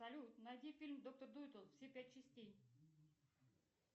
салют найди фильм доктор дулиттл все пять частей